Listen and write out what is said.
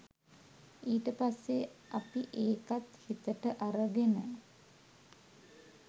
ඊට පස්සේ අපි ඒකත් හිතට අරගෙන